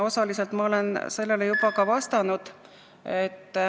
Osaliselt ma olen sellele juba vastanud.